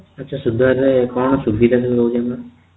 ଆଛା ସୁଧ ର କଣ ସୁବିଧା ସୁଯୋଗୋ କେମିତି